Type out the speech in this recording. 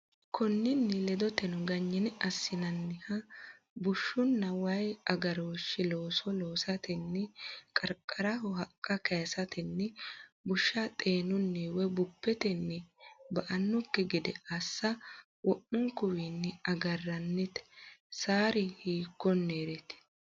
Konninni ledoteno, ganyine assinanniha bushshunna wayi agarooshshi looso loosatenni qarqaraho haqqa kayisatenni, bushs xeenunni woy bubbetenni ba”annokki gede assa wo’munkuwayiinni agarrannite, sari hiikkoreeti?